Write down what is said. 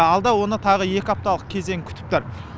алда оны тағы екі апталық кезең күтіп тұр